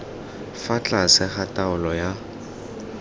fa tlase ga taolo ya